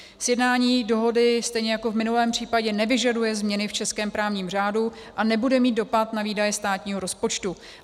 Sjednání dohody stejně jako v minulém případě nevyžaduje změny v českém právním řádu a nebude mít dopad na výdaje státního rozpočtu.